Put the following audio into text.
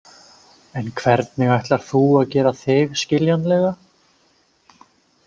En hvernig ætlar þú að gera þig skiljanlega?